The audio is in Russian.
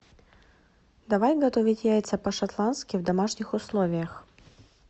давай готовить яйца по шотландски в домашних условиях